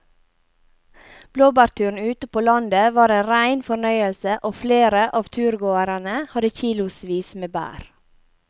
Blåbærturen ute på landet var en rein fornøyelse og flere av turgåerene hadde kilosvis med bær.